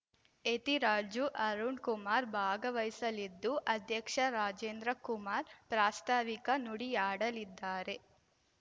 ಯತಿರಾಜು ಅರುಣ್ ಕುಮಾರ್ ಭಾಗವಹಿಸಲಿದ್ದು ಅಧ್ಯಕ್ಷ ರಾಜೇಂದ್ರ ಕುಮಾರ್ ಪ್ರಾಸ್ತಾವಿಕ ನುಡಿಯಾಡಲಿದ್ದಾರೆ